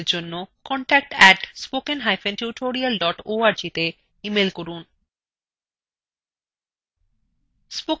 অধিক বিবরণের জন্য contact @স্পোকেনটিউটোরিয়াল org তে ইমেল করুন